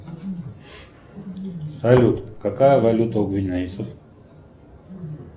салют какая валюта у гвинейцев